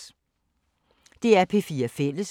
DR P4 Fælles